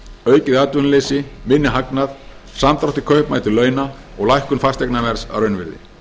aukið atvinnuleysi minni hagnað samdrátt í kaupmætti launa og lækkun fasteignaverðs að raunvirði